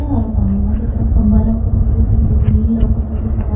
अउ सामनवा के तरफ खम्बा लउकत हवे। नीचे जमीन लउकत हवे। ऊ --